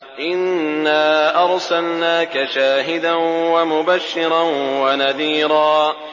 إِنَّا أَرْسَلْنَاكَ شَاهِدًا وَمُبَشِّرًا وَنَذِيرًا